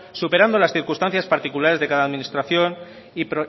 superando las circunstancias particulares de cada administración y